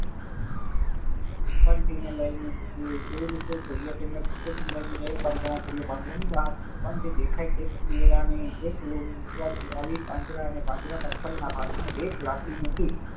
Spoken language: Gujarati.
chimpanzi ને લઈને જોયે તો chimpanzee ને એક પાંજરા માં પુરીએ પાંજરા ની બહાર કેળા ની એક લૂમ મુકવાથી અને પાંજરા ની પાછળ એક લાકડી મૂકી